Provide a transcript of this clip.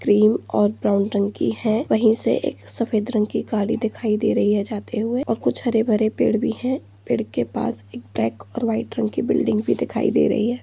cream और brown रंग की हैं वहीं से एक सफ़ेद रंग की गाड़ी दिखाई दे रही है जाते हुए और कुछ हरे भरे पेड़ भी हैं पेड़ के पास एक ब्लेक और व्हाइट रंग की बिल्डिंग भी दिखाई दे रही है|